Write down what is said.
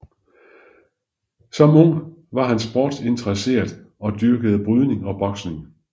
Som ung var Hart sportsinteresseret og dyrkede brydning og boksning